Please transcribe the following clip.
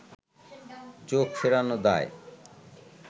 চোখ ফেরানো দায়